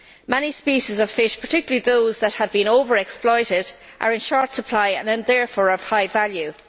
Many species of fish, particularly those that have been over exploited, are in short supply and are therefore of high value.